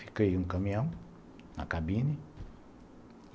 Fiquei em um caminhão, na cabine.